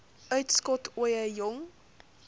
uitskot ooie jong